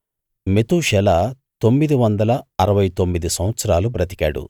మెతూషెల తొమ్మిది వందల అరవై తొమ్మిది సంవత్సరాలు బ్రతికాడు